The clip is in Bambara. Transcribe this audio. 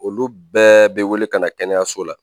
Olu bɛɛ bɛ wele ka na kɛnɛyaso la